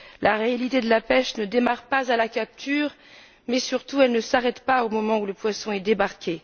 La réalité de la pêche ne démarre pas à la capture mais, surtout, elle ne s'arrête pas au moment où le poisson est débarqué.